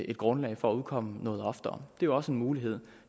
et grundlag for at udkomme noget oftere det er jo også en mulighed